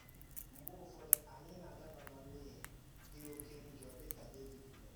Mgbe ụfọdụ, anyị na-adaba ná mmehie dị ọ̀ké njọ dị ka Dẹvid mere.